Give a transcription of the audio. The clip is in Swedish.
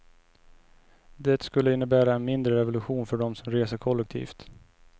Det skulle innebära en mindre revolution för dem som reser kollektivt.